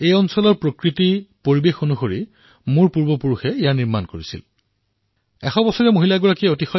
এয়া ঘৰ আমাৰ পূৰ্বজসকলে ইয়াৰ প্ৰকৃতি অনুসৰি ইয়াৰ বাতাৱৰণ অনুসৰি নিৰ্মাণ কৰিছিল